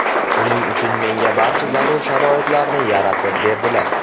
Buning uchun menga barcha zarur sharoitlarni yaratib berdilar.